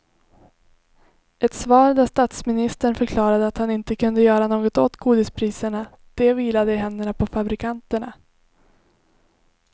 Ett svar där statsministern förklarade att han inte kunde göra något åt godispriserna, det vilade i händerna på fabrikanterna.